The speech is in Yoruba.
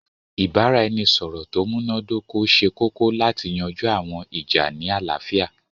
Ìbàràẹnisọ̀rọ̀ tó múnadókọ̀ sẹ̀ kòkò látì yanjú àwọn ìjà́ ní aláfíà.